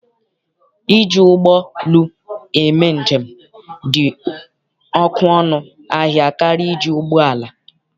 Iji ụgbọ lu eme njem dị ọkụ ọnụ ahịa karịa iji ụgbọala.